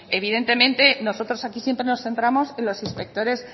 evidentemente nosotros aquí siempre nos centramos en los inspectores